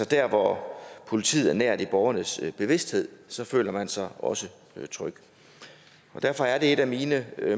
der hvor politiet er nær i borgernes bevidsthed så føler man sig også tryg og derfor er det et af mine